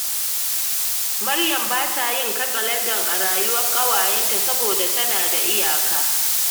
Maryam ba ta yin katsalandan a rayuwar ƙawayenta, saboda tana da iyaka